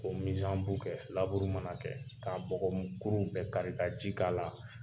K'o kɛ , laburu mana kɛ, k'a bɔgɔ kurun bɛɛ kari ka ji k'a la.